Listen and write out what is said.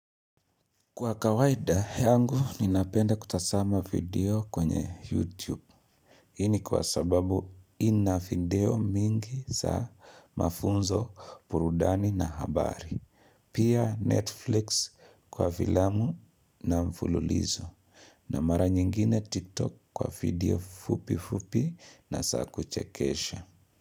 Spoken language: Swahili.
Kwa kawaida yangu ninapenda kutasama video kwenye YouTube. Hii ni kwa sababu ina video mingi za mafunzo purudani na habari. Pia Netflix kwa filamu na mfululizo. Na mara nyingine TikTok kwa video fupi fupi na saa kuchekesha.